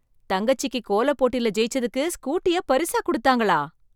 தங்கச்சிக்கு கோலப்போட்டில ஜெயிச்சதுக்கு ஸ்கூட்டிய பரிசா குடுத்தாங்களா?